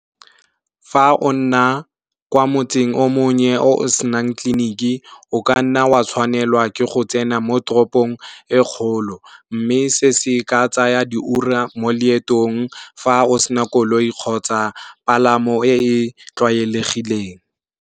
Fa o nna kwa motseng o monnye o senang tleleniki o ka nna wa tshwanelwa ke go tsena mo toropong e kgolo mme se se ka tsaya diura mo leetong fa o se na koloi kgotsa dipalamo e tlwaelegileng.